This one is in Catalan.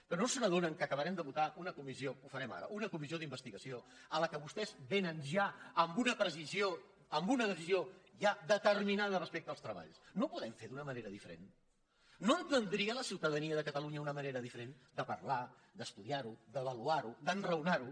però no s’adonen que acabarem de votar una comissió que ho farem ara una comissió d’investigació a què vostès vénen ja amb una decisió ja determinada respecte als treballs no ho podem fer d’una manera diferent no entendria la ciutadania de catalunya una manera diferent de parlar d’estudiar ho d’avaluar ho d’enraonar ho